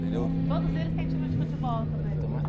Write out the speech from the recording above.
Entendeu? Todos eles têm time de futebol também?